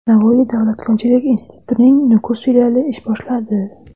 Navoiy davlat konchilik institutining Nukus filiali ish boshladi.